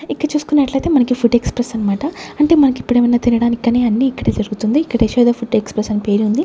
ఇక్కడ చూసుకున్నట్లు అయితే మనకి ఫుడ్ ఎక్స్ప్రెస్ అన్నమాట అంటే మనకి ఇప్పుడు ఏమైన తినడానికి అన్ని ఇక్కడే దొరుకుతుంది ఇక్కడ యశోద ఫుడ్ ఎక్స్ప్రెస్ అని పేరు ఉంది.